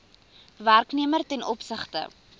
werknemer ten opsigte